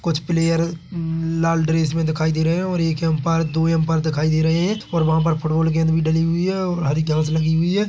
कुछ प्लेयर लाल ड्रेस मे दिखाई दे रहे है और एक अंपायर दो अंपायर दिखाई दे रहे है और वहा पर फुटबॉल गेंद भी डली हुई है और हरी घास लगी हुई है ।